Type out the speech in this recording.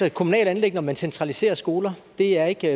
et kommunalt anliggende om man centraliserer skoler det er ikke